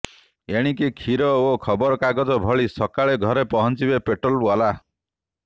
ଏଣିକି କ୍ଷୀର ଓ ଖବରକାଗଜ ଭଳି ସକାଳେ ଘରେ ପହିଚିଂବେ ପେଟ୍ରୋଲ ୱାଲା